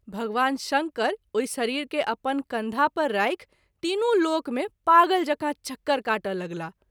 भगवान शंकर ओहि शरीर के अपन कंधा पर राखि तीनू लोक मे पागल जेकाँ चक्कर काटय लगलाह।